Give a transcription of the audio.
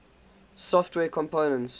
software components